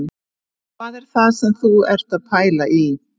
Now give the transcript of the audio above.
Hvað er það sem þú ert að pæla í